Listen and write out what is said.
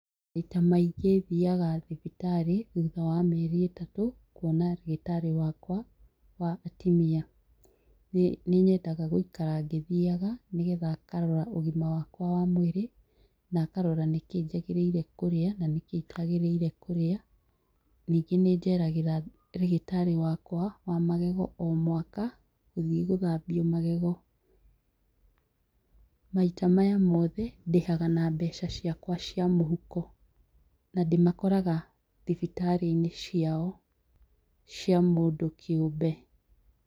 Maita maingĩ thiaga thĩbĩtarĩ thutha wa mĩeri ĩtatũ, kuona ndagĩtarĩ wakwa wa atumia nĩnyendaga gũikara ngĩthiaga nĩgetha ngarora ũgima wakwa wa mwĩrĩ na ngarora nĩkĩĩ njagĩrĩire kũrĩa, ningĩ nĩjeragĩra ndagĩtarĩ wakwa wa magego omwaka, gũthiĩ gũthambia magego maita maya mothe ndĩhaga nambeca ciakwa cia mũhuko na ndĩmakoraga thibitarĩinĩ ciao cia mũndũ kĩũmbe.